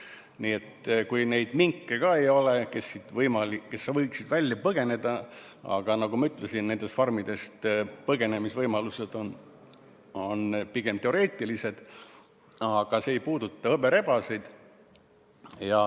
Nii et kui minke ka ei ole, kes võiksid põgeneda , siis hõberebaseid ja tšintšiljasid see ei puuduta.